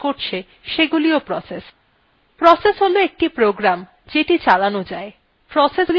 process হল একটি program যেটি চালানো যায়